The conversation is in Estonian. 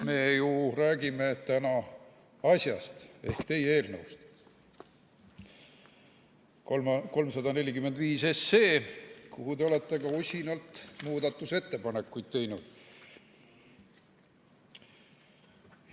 Me ju räägime täna asjast ehk teie eelnõust 345, mille kohta te olete ka usinalt muudatusettepanekuid teinud.